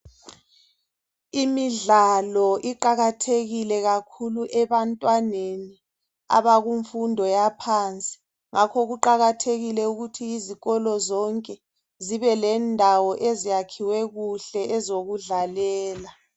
Imidlalo iqakathekile kakhulu ebantwaneni abakumfundo yaphansi ngakho kuqakathekile ukuthi izikolo zonke zibe lendawo eziyakhiwe kuhle ezokudlalela.